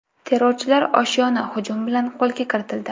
Terrorchilar oshyoni hujum bilan qo‘lga kiritildi.